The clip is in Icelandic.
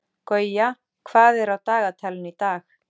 Gauja, hvað er á dagatalinu í dag?